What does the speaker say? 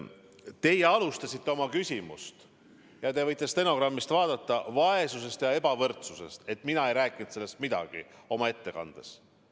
Te alustasite oma küsimust – te võite stenogrammist järele vaadata – väitega, et mina ei rääkinud oma ettekandes midagi vaesusest ja ebavõrdsusest.